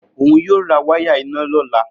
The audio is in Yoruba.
Oun yoo ra waya ina lola